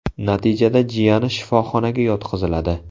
Natijada jiyani shifoxonaga yotqiziladi.